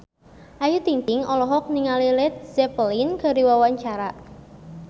Ayu Ting-ting olohok ningali Led Zeppelin keur diwawancara